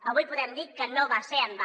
avui podem dir que no va ser en va